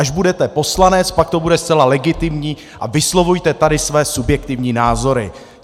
Až budete poslanec, pak to bude zcela legitimní a vyslovujte tady své subjektivní názory.